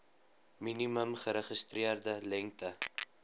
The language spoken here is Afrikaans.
minimum geregistreerde lengte